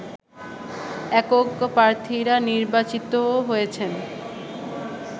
একক প্রার্থীরা নির্বাচিত হয়েছেন